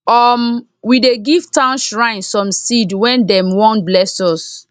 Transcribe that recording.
um we dey give town shrine some seed wen dem wan bless us